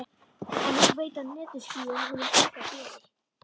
En nú veita netjuskýin honum enga gleði.